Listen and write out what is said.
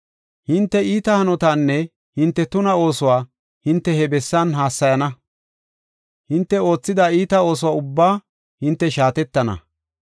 Hinte iita hanotaanne hinte tuna oosuwa hinte he bessan hassayana; hinte oothida iita ooso ubbaa hinte shaatettana.